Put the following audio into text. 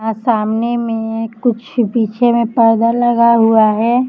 सामने में एक कुछ पीछे में पर्दा लगा हुआ है।